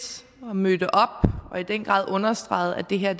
og møder op og i den grad understreger at det her er